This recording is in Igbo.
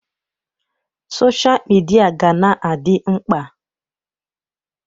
Sọsha mịdia ga-na adị mkpa.